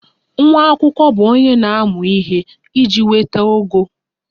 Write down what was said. Nwa akwụkwọ bụ onye na-amụ ihe iji nweta ogo